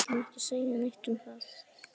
Ég ætla svo sem ekki að segja neitt um það!